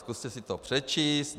Zkuste si to přečíst.